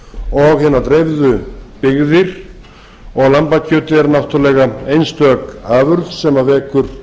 og hinar dreifðu byggðir og lambakjötið er náttúrlega einstök afurð sem vekur